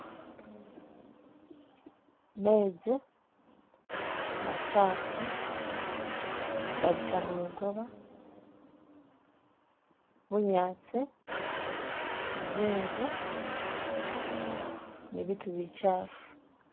Mezi machaafu gabita mulukoba, bunyaasi, zinzu ni biitu bichaafu.